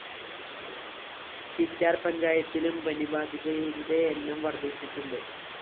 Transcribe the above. ചിറ്റാര്‍ പഞ്ചായത്തിലും പനിബാധിതരുടെ എണ്ണം വര്‍ദ്ധിച്ചിട്ടുണ്ട്